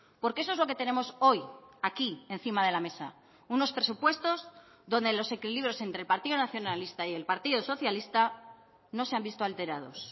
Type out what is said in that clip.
porque eso es lo que tenemos hoy aquí encima de la mesa unos presupuestos donde los equilibrios entre el partido nacionalista y el partido socialista no se han visto alterados